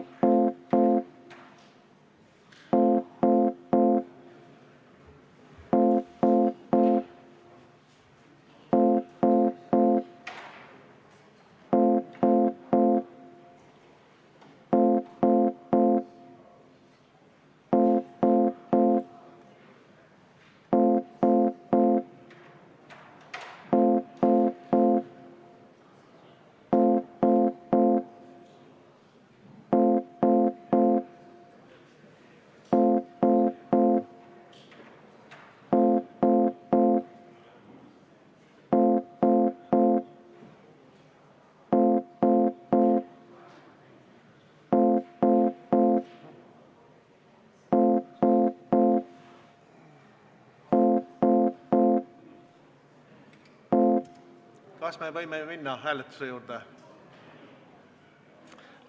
Kas me võime minna hääletuse juurde?